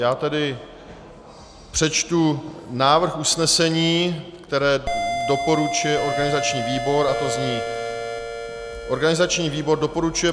Já tady přečtu návrh usnesení, které doporučuje organizační výbor, a to zní: Organizační výbor doporučuje